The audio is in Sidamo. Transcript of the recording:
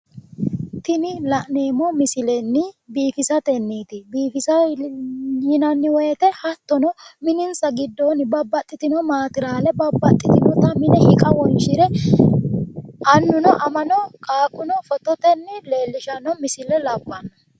Tini la'neemmo misilenni biifisatenniiti biifisa yinanni woyiiteno hattono minisa giddoonni babbaxxitino maateraale babbaxxitinota hiqa wonshire annuno amano qaaquno fotitenni leellishanno misile labbanno